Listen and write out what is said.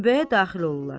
Gülbəyə daxil olurlar.